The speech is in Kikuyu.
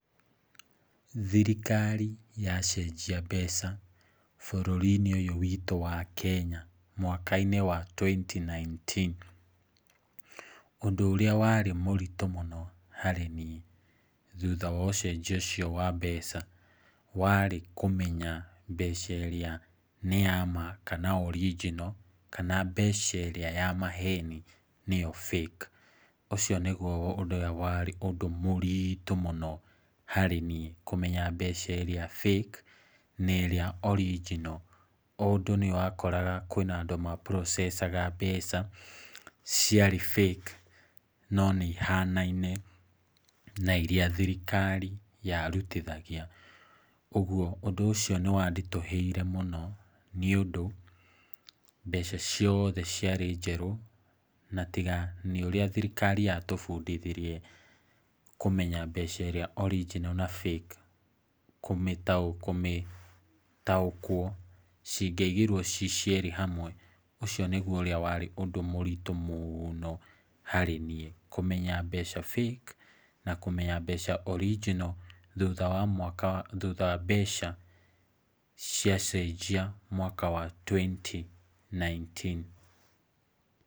Thirikari yacenjia mbeca bũrũri-inĩ ũyũ witũ wa Kenya mwaka-inĩ wa twenty nineteen, ũndũ ũrĩa warĩ mũritũ mũno harĩ niĩ thutha wa ũcenjia ũcio wa mbeca, warĩ kũmenya mbeca ĩrĩa nĩ ya ma ka original kana mbeca ĩrĩa ya maheni nĩyo fake na ĩrĩa original. Ũndũ nĩ wakoraga kwĩna andũ ma processed mbeca ciarĩ fake no nĩ ihanaine na irĩa thirikari yarutithagia. Ũguo ũndũ ũcio nĩ wanditũhĩire mũno nĩ ũndũ mbeca ciothe ciarĩ njerũ. Na tiga nĩ ũrĩa thirikari yatubundithirie kũmenya mbeca ĩrĩa original na fake kũmĩtaũkwo cingĩaigirwo ciĩ cierĩ hamwe. Ũcio nĩguo warĩ ũndũ mũritũ harĩ niĩ kũmenya mbeca fake na kũmenya mbeca original thutha wa mbeca ciacenjia mwaka wa twenty nineteen .